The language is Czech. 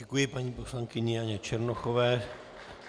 Děkuji paní poslankyni Janě Černochové.